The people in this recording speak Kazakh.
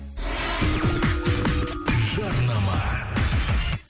жарнама